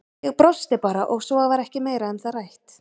Ég brosti bara og svo var ekki meira um það rætt.